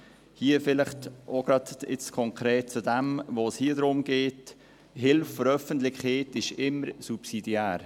Hier vielleicht konkret zum jetzt behandelten Antrag: Die Hilfe der Öffentlichkeit ist immer subsidiär.